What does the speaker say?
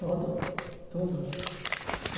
Todo, tudo.